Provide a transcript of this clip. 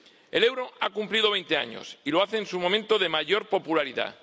El euro ha cumplido veinte años, y lo hace en su momento de mayor popularidad.